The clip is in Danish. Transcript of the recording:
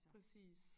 Præcis